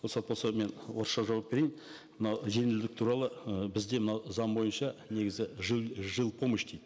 рұқсат болса мен орысша жауап берейін мынау жеңілдік туралы ы бізде мынау заң бойынша негізі жил помощь дейді